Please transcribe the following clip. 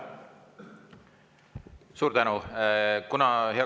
Suur tänu!